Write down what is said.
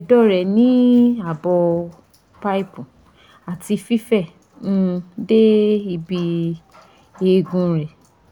edo re ni abo pipe ati fife um de ibi eegun re